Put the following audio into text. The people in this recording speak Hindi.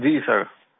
जी जी सर